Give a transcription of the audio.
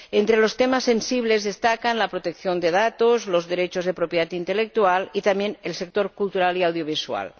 Entre los temas sensibles destacan la protección de datos, los derechos de propiedad intelectual y, también, el sector cultural y audiovisual.